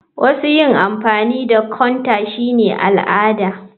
Wasu yin amfani da counter shine al'ada.